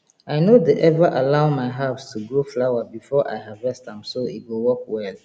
i no dey ever allow my herbs to grow flower before i harvest am so e go work well